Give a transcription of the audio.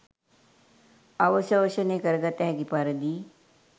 අවශෝෂණය කරගත හැකි පරිදි